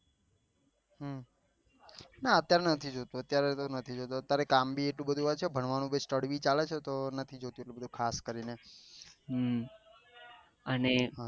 ના અત્યાર નથી જોતો અત્યારે કામ ભી એટલું બધું હોય છે ભણવાનું ભી ચાલે છે તો તો મેં કીધું કે